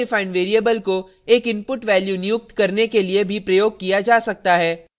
यह user defined variable को एक input value नियुक्त करने के लिए भी प्रयोग किया जा सकता है